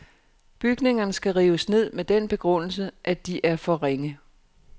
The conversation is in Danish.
Bygningerne skal rives ned med den begrundelse, at de er for ringe.